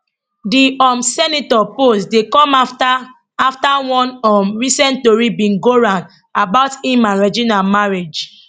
di um senator post dey come afta afta one um recent tori bin go round about im and regina marriage